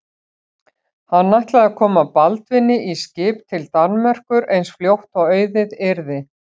Hann ætlaði að koma Baldvini í skip til Danmerkur eins fljótt og auðið yrði.